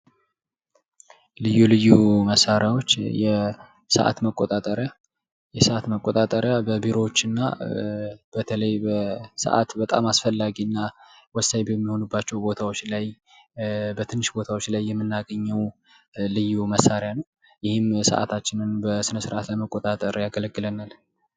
ልዩ ልዩ መሳሪያዎች የሰዓት መቆጣጠሪያ የሰዓት መቆጣጠሪያ በቢሮዎች እና በተለይ በሰዓት በጣም አስፈላጊ እና ወሳኝ በሚሆኑባቸው ቦታዎች ላይ በትንሽ ቦታዎች ላይ የምናገኘው ልዩ መሳሪያ ነው። ይህም ሰዓታችንን በስነ ስርዓት ለመቆጣጠር ያገለግለናል።